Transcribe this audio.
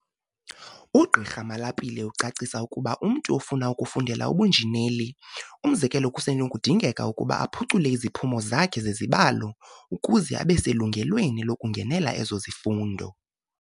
UGqi Malapile ucacisa ukuba umntu ofuna ukufundela ubunjineli, umzekelo, kusenokudingeka ukuba aphucule iziphumo zakhe zezibalo ukuze abe selungelweni lokungenela ezo zifundo.